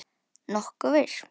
Nokkuð viss.